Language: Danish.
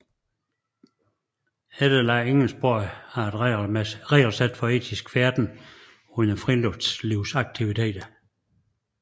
Efterlad ingen spor er et regelsæt for etisk færden under friluftslivsaktiviteter